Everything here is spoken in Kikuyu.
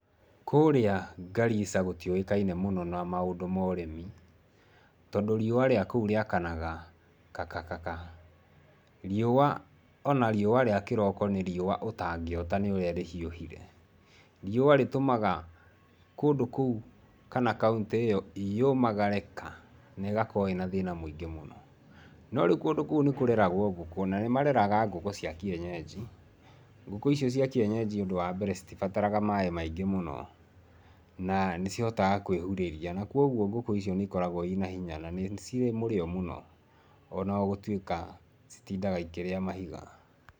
Kũrĩa Garissa gũtiũĩkaine mũno na maũndũ ma ũrĩmi, tondũ riũa rĩa kũu rĩakanaga ka ka ka. Riũa ona riũa rĩa kĩroko nĩ riũa ũtangĩota nĩũrĩa rĩhiũhire. Riũa rĩtũmaga kũndũ kũu, kana kauntĩ ĩyo, yũmagare ka, na ĩgakorũo ĩna thĩna mũingĩ mũno. No rĩu kũndũ kũu nĩkũreragũo ngũkũ, na nĩmareraga ngũkũ cia kĩenyenji. Ngũkũ icio cia kĩenyenji ũndũ wa mbere citibataraga maĩ maingĩ mũno, na nĩcihotaga kwĩhurĩria, na kuoguo ngũkũ icio nĩikogagũo ina hinya, na nĩ cirĩ mũrĩo mũno, ona gũtuĩka citindaga ikĩrĩa mahiga.